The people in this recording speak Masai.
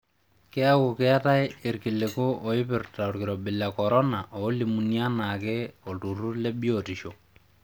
Keeku keetaye ilkiliku oipirta olkirobi le corona oolimuni anaake oltururr le biotisho.